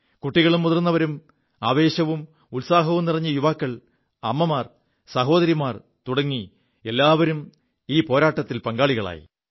കുികളും മുതിർവരും ആവേശവും ഉത്സാഹവും നിറഞ്ഞ യുവാക്കൾ അമ്മമാർ സഹോദരിമാർ തുടങ്ങി എല്ലാവരും സ്വയം ഈ പോരാത്തിൽ പങ്കാളികളായി